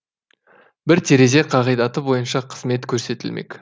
бір терезе қағидаты бойынша қызмет көрсетілмек